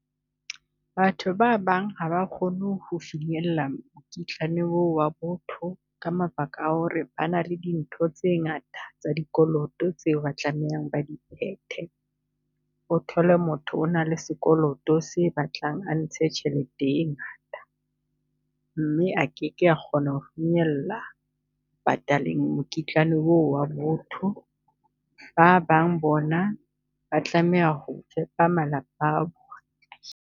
Batho ba bang ha ba kgone ho finyella mokitlane oo wa botho ka mabaka a ho re bana le dintho tse ngata tsa dikoloto tseo ba tlamehang ba di phethe. O thole motho o na le sekoloto se batlang a ntshe tjhelete e ngata, mme a keke kgona ho finyella pataleng mokitlane oo wa botho. Ba bang bona ba tlameha ho fepa malapa a bona.